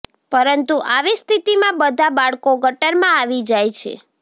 પરંતુ આવી સ્થિતિમાં બધા બાળકો ગટરમાં આવી જાય છે